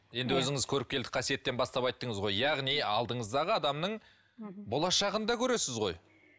енді өзіңіз көріпкелдік қасиеттен бастап айттыңыз ғой яғни алдыңыздағы адамның болашағын да көресіз ғой